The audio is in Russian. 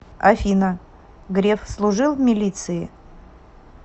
афина греф служил в милиции